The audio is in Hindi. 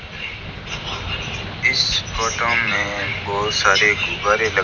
इस फोटो में बहुत सारे गुब्बारे लगे --